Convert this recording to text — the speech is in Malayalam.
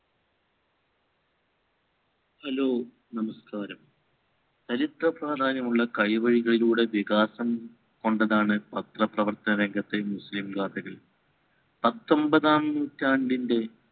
hello നമസ്‌കാരം ചരിത്ര പ്രാധാന്യമുള്ള കൈവേഗയിലുടെ വികാസം കൊണ്ടതാണ് പത്രപ്രവർത്ത രംഗത്തെ മുസ്ലിം നിവാസികൾ പത്തൊമ്പതാം നൂറ്റാണ്ടിൻറെ